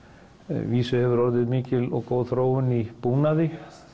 vísu hefur orðið mikil og góð þróun í búnaði